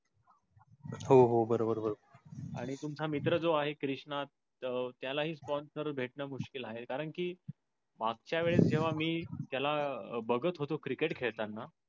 हो बर बर बर. आणि तुमचा मित्र त्यो आहे कृष्णा त्याला हि sponsor भेठना मुश्कील आहे. कारण कि मागच्या वेळे तेव्हा मी त्याला बगत होतो क्रिकेट खेळताना